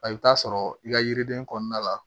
I bɛ taa sɔrɔ i ka yiriden kɔnɔna la